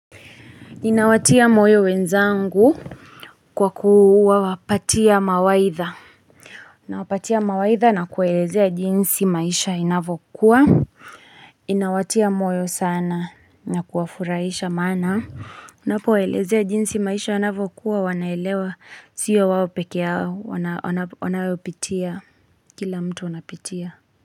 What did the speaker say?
Inawatia moyo wenzangu kwakuwa patia mawaidha. Nawapatia mawaidha na kuwaelezea jinsi maisha inavyokuwa. Inawatia moyo sana na kuwafurahisha maana. Napowaelezea jinsi maisha inavokuwa wanaelewa. Sio wao peke yao wanaopitia. Kila mtu anapitia.